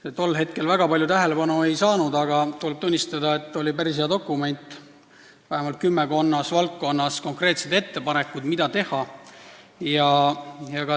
See tol hetkel väga palju tähelepanu ei saanud, aga tuleb tunnistada, et see oli päris hea dokument, vähemalt kümmekonnas valdkonnas tehti konkreetsed ettepanekud, mida tuleks teha.